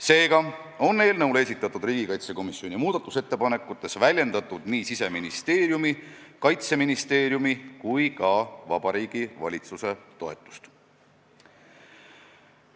Seega on riigikaitsekomisjoni muudatusettepanekutes väljendatud nii Siseministeeriumi, Kaitseministeeriumi kui ka Vabariigi Valitsuse toetust.